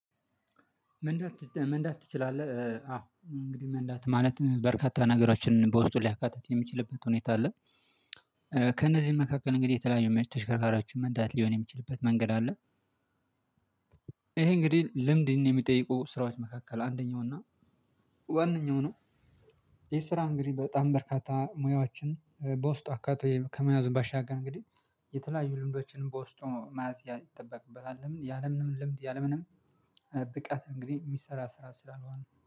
መንዳት መንዳት ትችላለህ? አዎ እንግዲህ መንዳት ማለት በርካታ ነገሮችን በውስጡ ሊያካትት የሚችልበት ሁኔታ አለ። ከእነዚህ መካከል እንግዲህ የተለያዩ መቼ ተሽከርካሪያችን መንዳት ሊሆን የሚችልበት መንገድ አለ። ይሄ እንግዲህ ልምድን የሚጠይቁ ስራዎች መካከል አንደኛው እና ዋነኛው ነው። ይህ ስራ እንግዲህ በጣም በርካታ ሙያዎችን በውስጥ አካቶ ከመያዝ ባሻገር እንግዲህ የተለያዩ ልምዶችንም በውስጡ መያዝ ይጠበቅበታል። ለምን ያለምንም ልምድ ያለምንም ብቃት እንግዲህ የሚሰራ ስራ ስላልሆነ